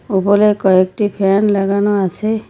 ওপরে কয়েকটি ফ্যান লাগানো আসে।